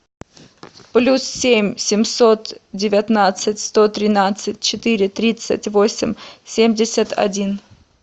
плюс семь семьсот девятнадцать сто тринадцать четыре тридцать восемь семьдесят один